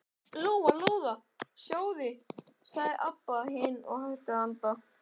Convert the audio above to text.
Lóa Lóa, sjáðu, sagði Abba hin og hætti að anda.